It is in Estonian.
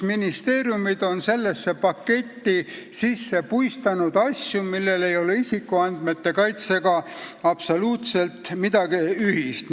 Ministeeriumid on sellesse paketti sisse puistanud asju, millel ei ole isikuandmete kaitsega absoluutselt midagi ühist.